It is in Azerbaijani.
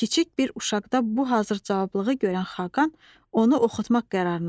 Kiçik bir uşaqda bu hazır cavablığı görən Xaqan onu oxutmaq qərarına gəlir.